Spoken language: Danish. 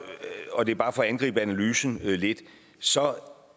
og det er bare for at angribe analysen lidt så